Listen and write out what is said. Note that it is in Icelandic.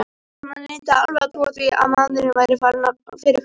Konan neitaði alveg að trúa því að maðurinn væri farinn fyrir fullt og allt.